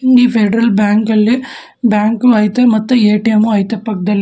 ಈ Federal Bank ಅಲ್ಲಿ bank ಐತೆ ಮತ್ತೆ ಎ_ಟಿ_ಎಂ ಉ ಐತೆ ಪಕ್ದಲ್ಲಿ.